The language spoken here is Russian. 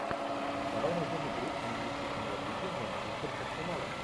давай найдем игру английской премьер лиги манчестер с арсеналом